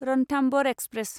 Ranthambore express